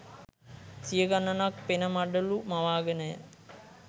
සිය ගණනක් පෙන මඩලු මවාගෙනය.